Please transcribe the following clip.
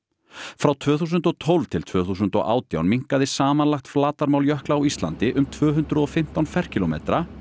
frá tvö þúsund og tólf til tvö þúsund og átján minnkaði samanlagt flatarmál jökla á Íslandi um tvö hundruð og fimmtán ferkílómetra